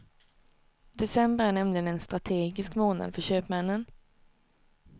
December är nämligen en strategisk månad för köpmännen.